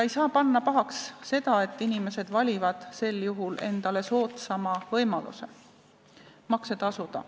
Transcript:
Ei saa panna pahaks seda, et nad valivad sel juhul endale soodsama võimaluse makse tasuda.